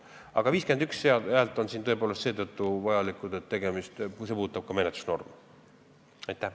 Aga 51 häält on siin seetõttu vajalikud, et see seadus puudutab menetlusnorme.